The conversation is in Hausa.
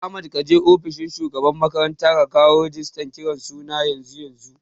Ahmad kaje ofishin shugaban makaranta ka kawo rigistan kiran suna yanzu yanzu